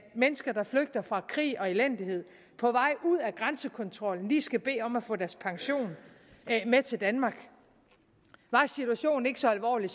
mennesker der flygter fra krig og elendighed på vej ud af grænsekontrollen lige skal bede om at få deres pension med til danmark var situationen ikke så alvorlig